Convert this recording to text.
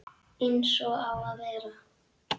Eins og á að vera.